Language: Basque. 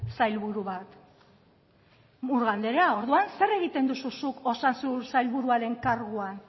sailburu bat murga anderea zer egiten duzu zuk osasun sailburuarekin karguan